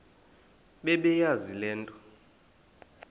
bebeyazi le nto